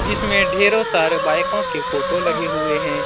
इसमें ढेरों सारे बाइकों के फोटो लगे हुए हैं।